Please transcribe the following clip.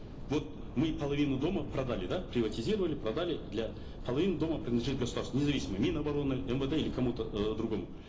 вот мы половину дома продали да приватизировали продали для половина дома принадлежит государству независимо мин обороны мвд или кому то э другому